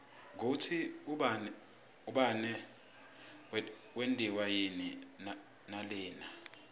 kutsi umbane wentiwa yini nalina